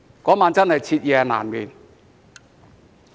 那晚真的徹夜難眠。